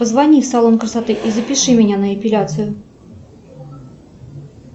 позвони в салон красоты и запиши меня на эпиляцию